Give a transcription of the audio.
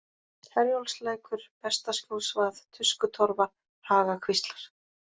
Herjólfslækur, Bestaskjólsvað, Tuskutorfa, Hagakvíslar